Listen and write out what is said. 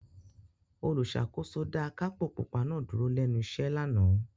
Olùṣàkóso dá akápò pupa náà dúró lẹ́nu iṣẹ́ lánàá.